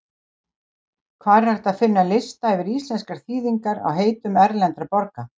Hvar er hægt að finna lista yfir íslenskar þýðingar á heitum erlendra borga?